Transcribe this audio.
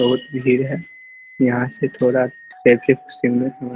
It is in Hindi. बहुत भीड़ हैं यहाँ से थोड़ा ----